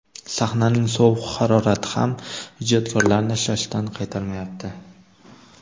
Sahnaning sovuq harorati ham ijodkorlarni shashtidan qaytarmayapti.